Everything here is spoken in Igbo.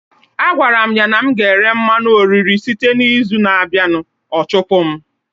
Agwara m ya na m ga-ere mmanụ oriri site n'izu na-abịa, ọ chụpụkwa m